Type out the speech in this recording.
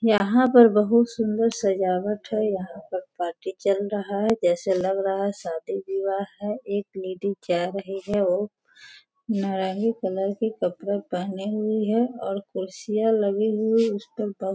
यहाँ पर बहुत सुन्दर सजावट है यहाँ पर पार्टी चल रहा है जैसे लग रहा है शादी विवाह है एक लेडी जा रही हैं वो नारंगी कलर के कपड़े पहनी हुईं हैं और कुर्सियां लगी हुई --